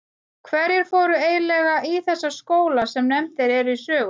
Hverjir fóru eiginlega í þessa skóla sem nefndir eru í sögunni?